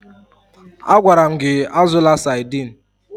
Agwara m gị azụla Sadiin!